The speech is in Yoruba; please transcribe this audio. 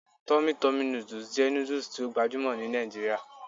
Tummy Tummy noodles jẹ nudus ti o gbajumo ni Nigeria